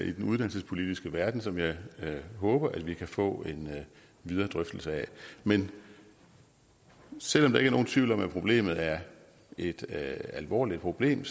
i den uddannelsespolitiske verden som jeg håber at vi kan få en videre drøftelse af men selv om der ikke er nogen tvivl om at problemet er et alvorligt problem